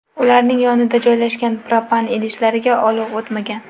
Ularning yonida joylashgan propan idishlariga olov o‘tmagan.